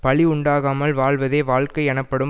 பழி உண்டாகாமல் வாழ்வதே வாழ்க்கை எனப்படும்